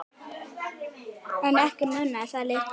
En ekki munaði það miklu.